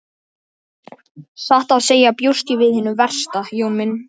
Satt að segja bjóst ég við hinu versta Jón minn.